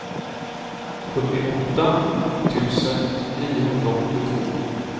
sjuttioåtta tusen niohundraåttiotvå